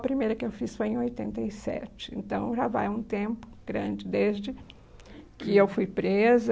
A primeira que eu fiz foi em oitenta e sete, então já vai um tempo grande desde que eu fui presa